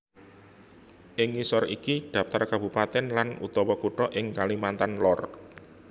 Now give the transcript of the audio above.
Ing ngisor iki dhaptar kabupatèn lan utawa kutha ing Kalimantan Lor